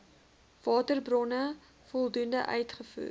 waterbronne voldoende uitgevoer